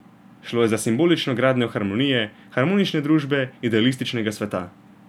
Šlo je za simbolično gradnjo harmonije, harmonične družbe, idealističnega sveta.